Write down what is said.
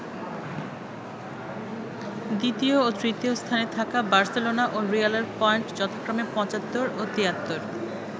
দ্বিতীয় ও তৃতীয় স্থানে থাকা বার্সেলোনা ও রিয়ালের পয়েন্ট যথাক্রমে ৭৫ ও ৭৩।